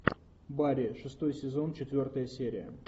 барри шестой сезон четвертая серия